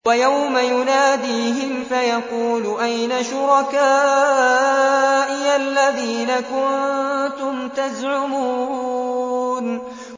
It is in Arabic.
وَيَوْمَ يُنَادِيهِمْ فَيَقُولُ أَيْنَ شُرَكَائِيَ الَّذِينَ كُنتُمْ تَزْعُمُونَ